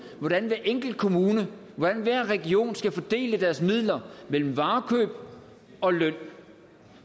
hvordan hver enkelt kommune og hver region skal fordele deres midler mellem varekøb og løn